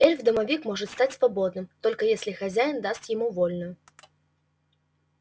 эльф-домовик может стать свободным только если хозяин даст ему вольную